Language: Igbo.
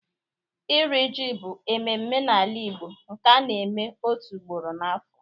Iri ji bụ mmemme n'ala Igbo nke a na-eme otu ugboro n'afọ.